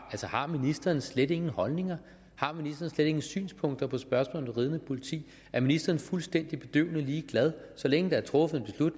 om ministeren slet ingen holdninger har har ministeren slet ingen synspunkter på spørgsmålet ridende politi er ministeren fuldstændig bedøvende ligeglad så længe der er truffet